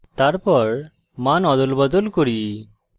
তারপর then অদলবদল করি